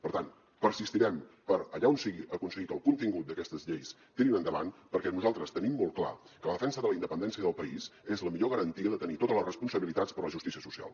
per tant persistirem per allà on sigui aconseguir que el contingut d’aquestes lleis tiri endavant perquè nosaltres tenim molt clar que la defensa de la independència i del país és la millor garantia de tenir totes les responsabilitats per la justícia social